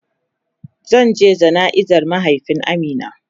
Zan je jana'iza mahaifiyan Amina.